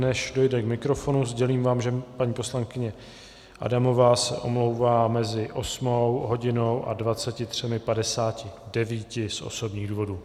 Než dojde k mikrofonu, sdělím vám, že paní poslankyně Adamová se omlouvá mezi osmou hodinou a 23.59 z osobních důvodů.